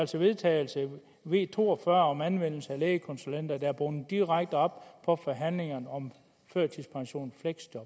til vedtagelse v to og fyrre om anvendelse af lægekonsulenter der er bundet direkte op på forhandlingerne om førtidspension